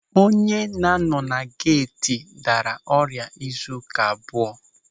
Onye na-anọ na geeti daara ọrịa izu ụka abụọ.